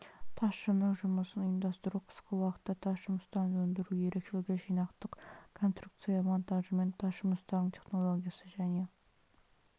тасшының жұмысын ұйымдастыру қысқы уақытта тас жұмыстарын өндіру ерекшелігі жинақтық конструкция монтажымен тас жұмыстарының технологиясы және